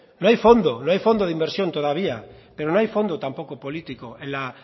no hay fondo no hay fondo de inversión todavía pero no hay fondo tampoco político en la